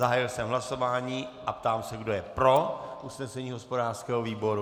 Zahájil jsem hlasování a ptám se, kdo je pro usnesení hospodářského výboru.